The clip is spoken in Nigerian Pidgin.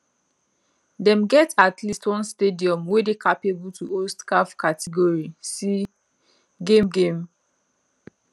dem get at least one stadium wey dey capable to host caf category c game game